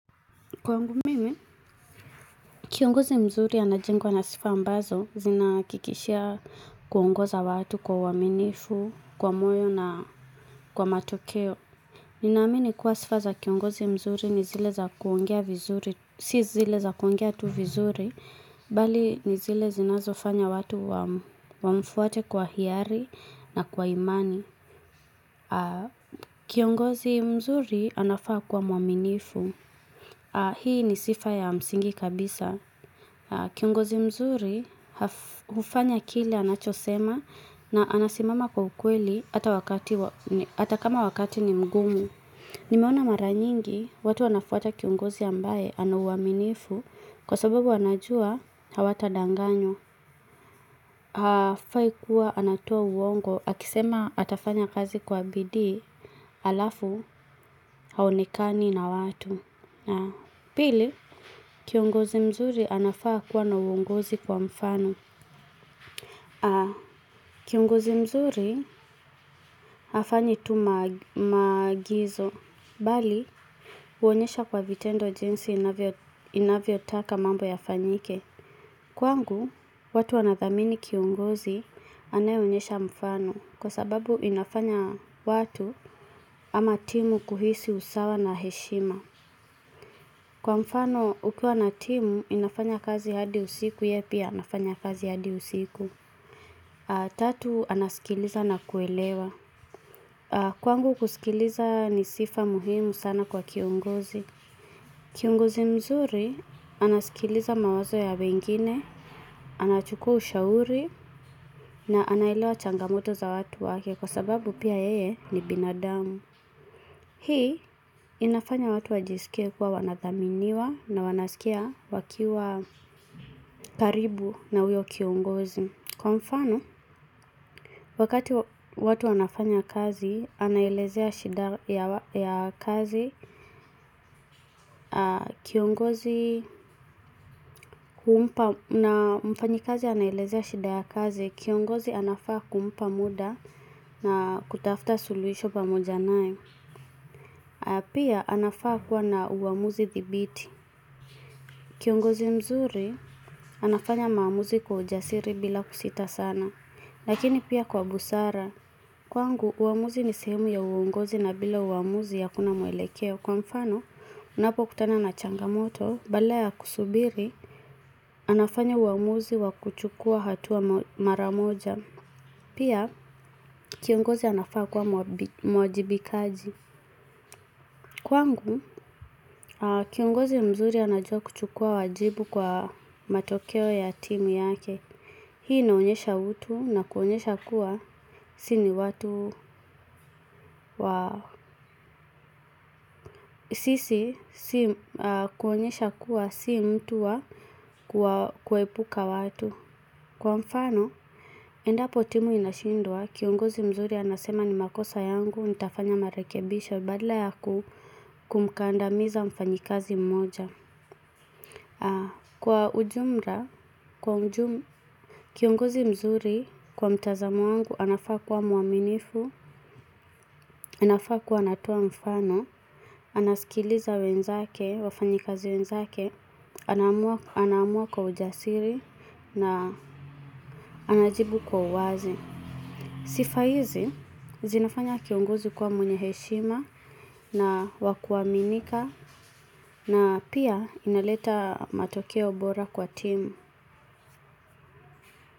Kwangu mimi, kiongozi mzuri anajengwa na sifa ambazo zinahakikishia kuongoza watu kwa uaminifu, kwa moyo na kwa matokeo. Ninaamini kuwa sifa za kiongozi mzuri ni zile za kuongea vizuri, si zile za kuongea tu vizuri, bali ni zile zinazofanya watu wamfuate kwa hiari na kwa imani. Kiongozi mzuri anafaa kuwa mwaminifu. Hii ni sifa ya msingi kabisa kiongozi mzuri hufanya kile anachosema na anasimama kwa ukweli hata wakati wa hata kama wakati ni mgumu. Nimeona mara nyingi watu wanafuata kiongozi ambaye ana uaminifu kwa sababu anajua hawatadanganywa hafai kuwa anatoa uongo akisema atafanya kazi kwa bidii halafu haonekani na watu. Pili, kiongozi mzuri anafaa kuwa na uongozi kwa mfano. Kiongozi mzuri hafanyi tu maagizo bali huonyesha kwa vitendo jinsi inavyotaka mambo yafanyike. Kwangu, watu wanathamini kiongozi anayeonyesha mfano kwa sababu inafanya watu ama timu kuhisi usawa na heshima. Kwa mfano ukiwa na timu inafanya kazi hadi usiku, yeye pia anafanya kazi hadi usiku. Tatu, anasikiliza na kuelewa. Kwangu kusikiliza ni sifa muhimu sana kwa kiongozi. Kiongozi mzuri anasikiliza mawazo ya wengine, anachukua ushauri, na anaelewa changamoto za watu wake kwa sababu pia yeye ni binadamu. Hii inafanya watu wajisikie kuwa wanathaminiwa na wanasikia wakiwa karibu na huyo kiongozi. Kwa mfano, wakati watu wanafanya kazi humpa na mfanyikazi anaelezea shida ya kazi, kiongozi anafaa kumpa muda na kutafuta suluhisho pamoja naye. Pia, anafaa kuwa na uamuzi thibiti. Kiongozi mzuri anafanya maamuzi kwa ujasiri bila kusita sana, lakini pia kwa busara. Kwangu, uamuzi ni sehemu ya uongozi na bila uamuzi hakuna mwelekeo. Kwa mfano, anapokutana na changamoto, badala ya kusubiri, anafanya uamuzi wa kuchukua hatua mara moja. Pia, kiongozi anafaa kuwa mwajibikaji. Kwangu, kiongozi mzuri anajua kuchukua wajibu kwa matokeo ya timu yake. Hii inaonyesha utu na kuonyesha kuwa sisi ni watu wa sisi kuonyesha kuwa si mtu wa kuepuka watu. Kwa mfano, endapo timu inashindwa, kiongozi mzuri anasema ni makosa yangu, nitafanya marekebisho, badala ya kumkandamiza mfanyikazi mmoja. Kwa ujumla, kiongozi mzuri kwa mtazamo wangu anafaa kuwa mwaminifu, anafaa kuwa anatoa mfano, anasikiliza wenzake, wafanyikazi wenzake, anaamua kwa ujasiri, na anajibu kwa uwazi. Sifa hizi zinafanya kiongozi kuwa mwenye heshima na wa kuaminika na pia inaleta matokeo bora kwa timu.